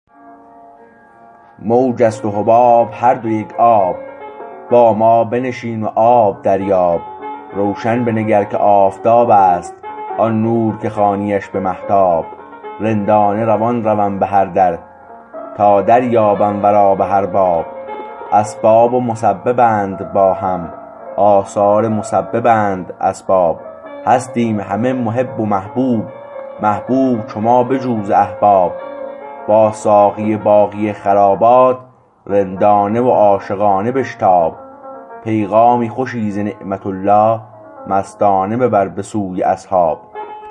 موج است و حباب هر دو یک آب با ما بنشین و آب دریاب روشن بنگر که آفتاب است آن نور که خوانیش به مهتاب رندانه روان روم به هر در تا دریابم ورا به هر باب اسباب و مسببند با هم آثار مسببند اسباب هستیم همه محب و محبوب محبوب چو ما بجو ز احباب با ساقی باقی خرابات رندانه و عاشقانه بشتاب پیغام خوشی ز نعمت الله مستانه ببر به سوی اصحاب